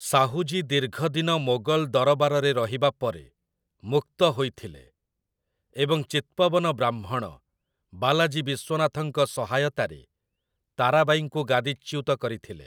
ସାହୁଜୀ ଦୀର୍ଘଦିନ ମୋଗଲ ଦରବାରରେ ରହିବା ପରେ ମୁକ୍ତ ହୋଇଥିଲେ ଏବଂ ଚିତ୍ପବନ ବ୍ରାହ୍ମଣ ବାଲାଜୀ ବିଶ୍ଵନାଥଙ୍କ ସହାୟତାରେ ତାରାବାଈଙ୍କୁ ଗାଦିଚ୍ୟୁତ କରିଥିଲେ ।